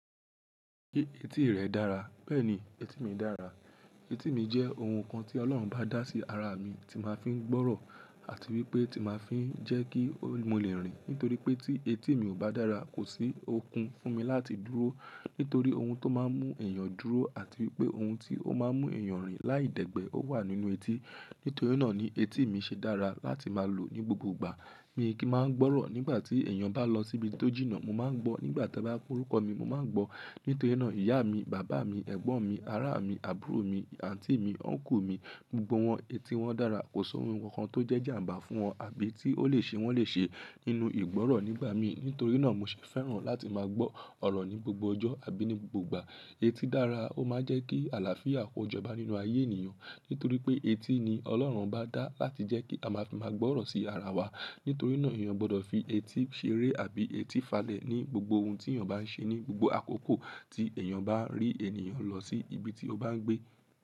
Ṣé etí rẹ dára? Bẹ́ẹ̀ni, etí mi dára. Etí mi jẹ́ ohun kan tí Ọlọ́run ọ́bá dá sí ara mi, tí máa ń fi gbọ́rọ̀ àti wípé ti máa ń fi jẹ́ kí mo lè rìn. Nítorí pé tí etí mi ò bá dára, kò sí okun fún mi láti dúró. Nítorí ohun tó máa ń mú èèyàn dúró àti wípé ohun tí ó máa ń mú èèyàn rìn láìdẹ̀gbẹ́ ó wà nínú etí. Nítorí náà ni etí mi ṣe dára láti máa lò ní gbogbo ìgbà. Mi kì í máa ń gbọ́rọ̀ nígbà tí èèyàn bá lọ síbi tó jìnnà. Mo máa ń gbọ́ nígbà tí wọ́n bá ń pe orúkọ mi, mo máa ń gbọ́. Nítorí náà ìyá mi, bàbá mi, ẹ̀gbọ́n mi, ará mi, àbúrò mi, àǹtí mi, Ọ́nkù mi, gbogbo wọn etí wọn dára. Kò sí ohun kankan tó jẹ́ ìjàǹbá fún wọn àbí tí ó lè ṣe wọ́n lè ṣe nínú ìgbọ́rọ̀ nígbà mí. Nítorí náà mo ṣe fẹ́ràn láti máa gbọ́ ọ̀rọ̀ ní gbogbo ọjọ́ àbí ní gbogbo ìgbà. Etí dára, ó máa ń jẹ́ kí àlàáfíà kó jọba nínú ayé ènìyàn. Nítorí pé etí ni Ọlọ́run bá dá láti jẹ́ kí a máa fi máa gbọ́rọ̀ sí ara wa. Nítorí náà èèyàn o gbọdọ̀ fi etí ṣeré àbí etí falẹ̀ ní gbogbo ohun tí èèyàn bá ń ṣe ní gbogbo àkókò tí èèyàn bá rí ènìyàn lọ sí ibi tí ó bá ń gbé.